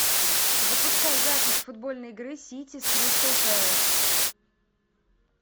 запускай запись футбольной игры сити с кристал пэлас